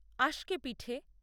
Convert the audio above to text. আস্কে পিঠে